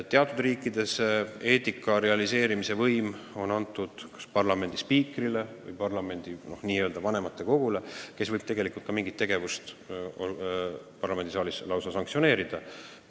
Teatud riikides on kontroll eetikareeglite järgimise üle antud parlamendi spiikrile või vanematekogule, kes võib mingi tegevuse eest parlamendisaalis lausa sanktsioone rakendada.